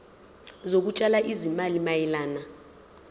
zokutshala izimali mayelana